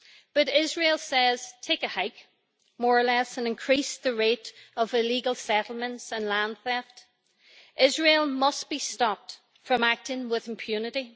But Israel says take a hike', more or less, and increases the rate of illegal settlements and land theft. Israel must be stopped from acting with impunity.